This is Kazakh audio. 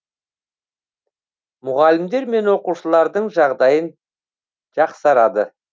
мұғалімдер мен оқушылардың жағдайын жақсарады